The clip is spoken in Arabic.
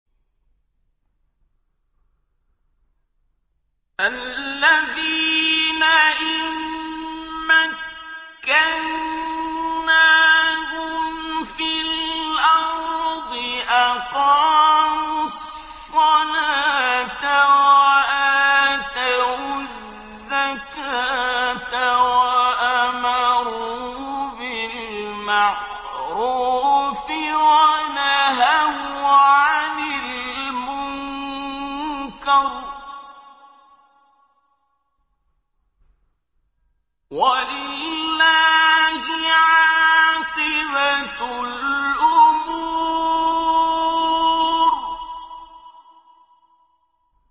الَّذِينَ إِن مَّكَّنَّاهُمْ فِي الْأَرْضِ أَقَامُوا الصَّلَاةَ وَآتَوُا الزَّكَاةَ وَأَمَرُوا بِالْمَعْرُوفِ وَنَهَوْا عَنِ الْمُنكَرِ ۗ وَلِلَّهِ عَاقِبَةُ الْأُمُورِ